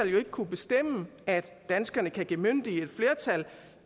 jo ikke kunne bestemme at danskerne kan bemyndige et flertal